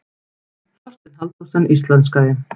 Þorsteinn Halldórsson íslenskaði.